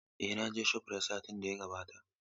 Eh, na je shofrayit satin da ya gabata.